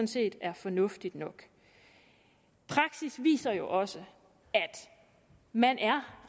set er fornuftigt nok praksis viser jo også at man er